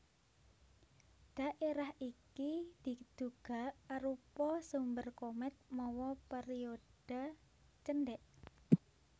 Dhaérah iki diduga arupa sumber komèt mawa périodha cendèk